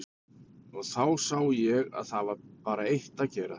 Og þá sá ég að það var bara eitt að gera.